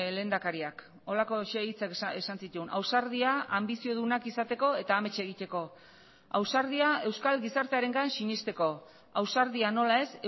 lehendakariak horrelako hitzak esan zituen ausardia anbiziodunak izateko eta amets egiteko ausardia euskal gizartearengan sinesteko ausardia nola ez